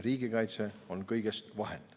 Riigikaitse on kõigest vahend.